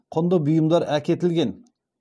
құнды бұйымдар әкетілген